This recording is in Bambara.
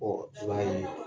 Ɔ b'a ye